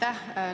Aitäh!